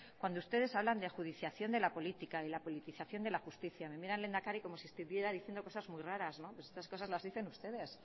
cuando ustedes hablan de ajudiciación de la política de la politización de la justicia me mira el lehendakari como si estuviera diciendo cosas muy raras no estas cosas las dicen ustedes